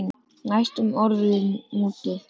Næstum orðinn úti